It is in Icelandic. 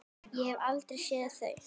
Ég hef aldrei séð þau!